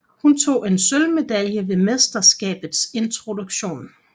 Hun tog en sølvmedalje ved mesterskabets introduktion